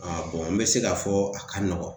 n be se ka fɔ a ka nɔgɔn.